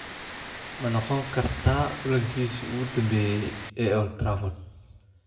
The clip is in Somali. Ma noqon kartaa kulankiisii ​​ugu dambeeyay ee Old Trafford?